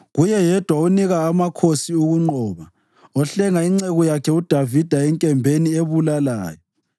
kuye yedwa onika amakhosi ukunqoba, ohlenga inceku yakhe uDavida enkembeni ebulalayo.